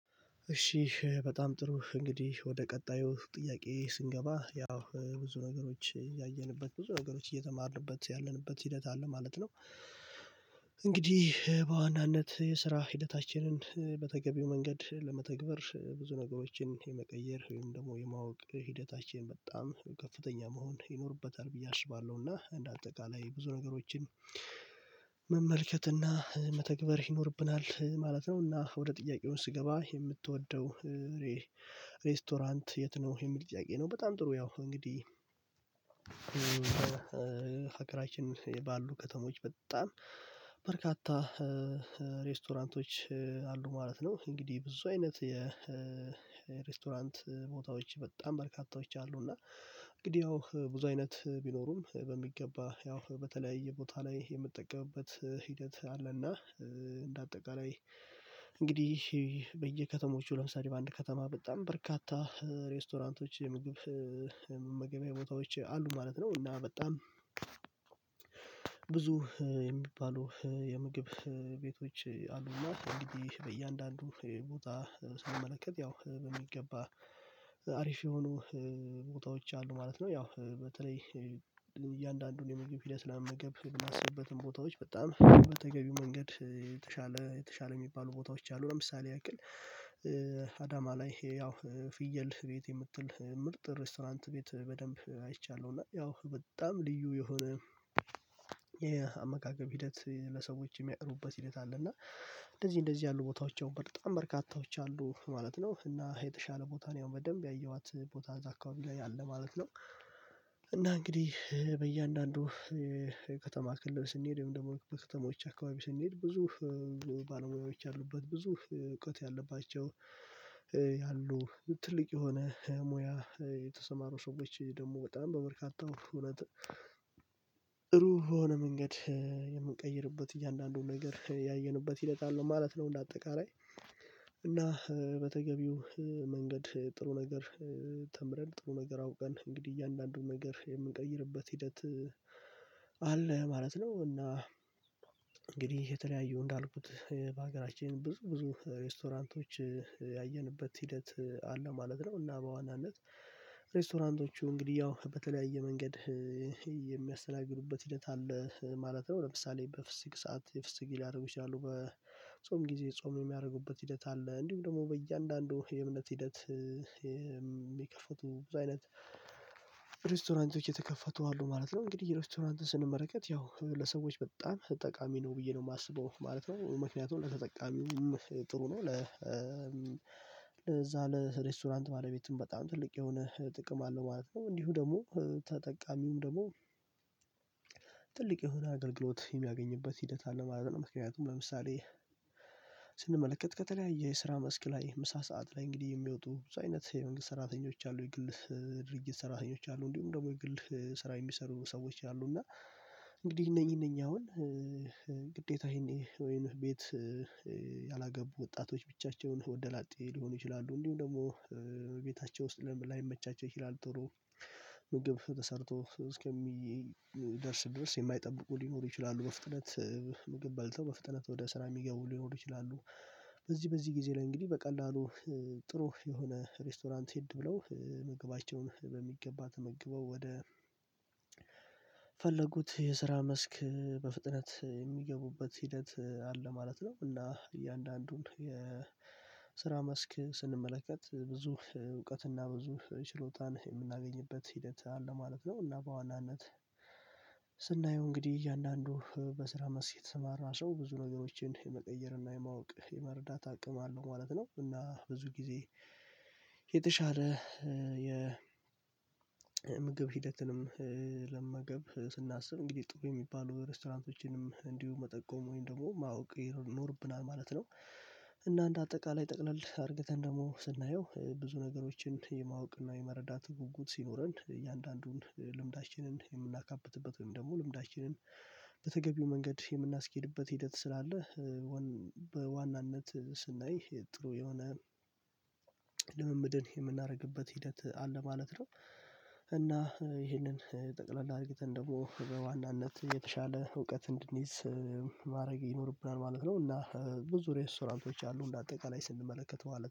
እሺ በጣም ጥሩ እንግዲህ ወደ ቀጣዩ ጥያቄ ስንገባ ያው ብዙ ነገሮች ያየንበት ብዙ ነገሮች እየተማርንበት ያለንበት ሂደት አለ ማለት ነው። እንግዲህ በዋናነት የስራ ሂደታችንን በተገቢው መንገድ ለመተግበር ብዙ ነገሮችን የመቀየር ወይም ደግሞ የማወቅ ሂደታችን በጣም ከፍተኛ መሆን ይኖርበታል ብዬ አስባለሁ እና እንደ አጠቃላይ ብዙ ነገሮችን መመልከት እና መተግበር ይኖርብናል ማለት ነው። እና ወደ ጥያቄው ስገባ "የምትወደው ሬስቶራንት የት ነው?" የሚል ጥያቄ ነው። በጣም ጥሩ ያው እንግዲህ ህገራችን ባሉ ከተሞች በጣም በርካታ ሬስቶራንቶች አሉ ማለት ነው። እንግዲህ ብዙ አይነት የሬስቶራንት ቦታዎች በጣም በርካታዎች አሉ፤ እና እንግዲህ ያው ብዙ አይነት ቢኖሩም በሚገባ ያው በተለያየ ቦታ ላይ የምጠቀምበት ሂደት አለ እና እንደ አጠቃላይ እንግዲህ በየከተሞቹ ለምሳሌ በአንድ ከተማ በጣም በርካታ ሬስቶራንቶች የምግብ መመገቢያ ቦታዎች አሉ ማለት ነው፤ እና በጣም ብዙ የሚባሉ የምግብ ቤቶች አሉ እና እንግዲህ በእያንዳንዱ ቦታ ስንመለከት ያው በሚገባ አሪፍ የሆኑ ቦታዎች አሉ ማለት ነው። ያው በተለይ እያንዳንዱን የምግብ ሂደት ለመመገብ የምናስብበትን ቦታዎች በጣም በተገቢው መንገድ የተሻለ የተሻለ የሚባሉ ቦታዎች አሉ። ለምሳሌ ያክል አዳማ ላይ ያው ፍየል ቤት የምትል ምርጥ ሬስቶራንት ቤት በደንብ አይቻለሁ፤ እና ያው በጣም ልዩ የሆነ የአመጋገብ ሂደት ለሰዎች የሚያቅርቡበት ሂደት አለ፤ እና እንደዚህ እንደዚህ ያሉ ቦታዎች ያው በጣም በርካታዎች አሉ ማለት ነው፤ እና የተሻለ ቦታ እኔ ያው በደንብ ያየኋት ቦታ እዛ አካባቢ ላይ አለ ማለት ነው። እና እንግዲህ በእያንዳንዱ ከተማ ክልል ስንሄድ ወይም ደግሞ በከተማዎች አካባቢ ስንሄድ ብዙ ባለሙያዎች ያሉበት ብዙ እውቀት ያለባቸው ያሉ ትልቅ የሆነ ሙያ የተሰማሩ ሰዎች ደግሞ በጣም በበርካታው እውነት ጥሩ በሆነ መንገድ የምንቀይርበት እያንዳንዱን ነገር ያየንበት ሂደት አለ ማለት ነው እንደ አጠቃላይ፤ እና በተገቢው መንገድ ጥሩ ነገር ተምረን ጥሩ ነገር አውቀን እንግዲህ እያንዳንዱን ነገር የምንቀይርበት ሂደት አለ ማለት ነው፤ እና እንግዲህ የተለያዩ እንዳልኩት በሀገራችን ብዙ ብዙ ሬስቶራንቶች ያየንበት ሂደት አለ ማለት ነው፤ እና በዋናነት ሬስቶራንቶቹ እንግዲህ ያው በተለያየ መንገድ የሚያስተናግዱበት ሂደት አለ ማለት ነው። ለምሳሌ በፍስግ ሰዓት የፍስግ ሊያደርጉ ይችላሉ። በጾም ጊዜ ጾም የሚያደርጉበት ሂደት አለ። እንዲሁም ደግሞ በእያንዳንዱ የእምነት ሂደት የሚከፈቱ ብዙ አይነት ሬስቶራንቶች የተከፈቱ አሉ ማለት ነው። እንግዲህ ሬስቶራንትን ስንመለከት ያው ለሰዎች በጣም ጠቃሚ ነው ብዬ ነው የማስበው ማለት ነው። ምክንያቱም ለተጠቃሚውም ጥሩ ነው ለ ለዛ ለሬስቶራንት ባለቤትም በጣም ትልቅ የሆነ ጥቅም አለው ማለት ነው። እንዲሁም ደግሞ ተጠቃሚውም ደግሞ ትልቅ የሆነ አገልግሎት የሚያገኝበት ሂደት አለ ማለት ነው። ምክንያቱም ለምሳሌ ስንመለከት ከተለያየ የስራ መስክ ላይ ምሳ ሰዓት ላይ እንግዲህ የሚወጡ ብዙ አይነት የመንግስት ሰራተኞች አሉ የግል ድርጅት ሰራተኞች አሉ እንዲሁም ደግሞ የግል ስራ የሚሰሩ ሰዎች አሉ፤ እና እንግዲህ እነኚህ እነኚህ አሁን ግዴታ ይሄን ወይን ቤት ያላገቡ ወጣቶች ብቻቸውን ወንደላጤ ሊሆኑ ይችላሉ እንዲሁም ደግሞ ቤታቸው ውስጥ ላይመቻቸው ይችላሉ ጥሩ ምግብ ተሰርቶ እስከሚደርስ ድረስ የማይጠብቁ ሊኖሩ ይችላሉ፤ በፍጥነት ምግብ በልተው በፍጥነት ወደ ስራ የሚገቡ ሊኖሩ ይችላሉ። በዚህ በዚህ ጊዜ ላይ እንግዲህ በቀላሉ ጥሩ የሆነ ሬስቶራንት ሄድ ብለው ምገባቸውን በሚገባ ተመግበው ወደ ፈለጉት የስራ መስክ በፍጥነት የሚገቡበት ሂደት አለ ማለት ነው፤ እና እያንዳንዱን የስራ መስክ ስንመለከት ብዙ እውቀትና ብዙ ችሎታን የምናገኝበት ሂደት አለ ማለት ነው፤ እና በዋናነት ስናየው እንግዲህ እያንዳንዱ በስራ መስክ የተሰማራ ሰው ብዙ ነገሮችን የመቀየርና የማወቅ የመረዳት አቅም አለው ማለት ነው፤ እና ብዙ ጊዜ የተሻለ የ ምግብ ሂደትንም ለመመገብ ስናስብ እንግዲህ ጥሩ የሚባሉ ሬስቶራንቶችንም እንዲሁ መጠቆም ወይም ደግሞ ማወቅ ይኖርብናል ማለት ነው። እና እንደ አጠቃላይ ጠቅለል አድርግተን ደግሞ ስናየው ብዙ ነገሮችን የማወቅና የመረዳት ጉጉት ሲኖረን እያንዳንዱን ልምዳችንን የምናካብትበት ወይም ደግሞ ልምዳችንን በተገቢው መንገድ የምናስኬድበት ሂደት ስላለ በዋናነት ስናይ ጥሩ የሆነ ልምምድን የምናደርግበት ሂደት አለ ማለት ነው። እና ይህንን ጠቅለል አርግተን ደግሞ በዋናነት የተሻለ እውቀት እንድንይዝ ማድረግ ይኖርብናል ማለት ነው፤ እና ብዙ ሬስቶራንቶች አሉ እንደ አጠቃላይ ስንመለከተው ማለ